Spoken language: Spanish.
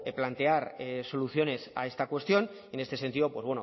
plantear soluciones a esta cuestión y en este sentido pues